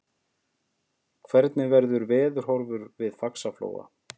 hvernig verður veðurhorfur við faxaflóa